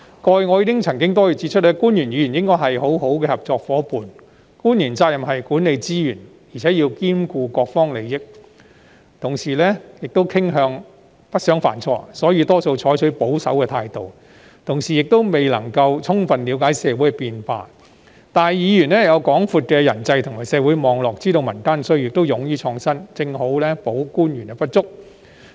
過去，我曾多次指出，官員和議員應該是很好的合作夥伴，官員的責任是管理資源，更要兼顧各方利益，亦傾向不想犯錯，所以大多採取保守態度，亦未必能了解社會變化；而議員有廣闊的人際及社會網絡，知道民間需要，亦勇於創新，正好補足官員的不足。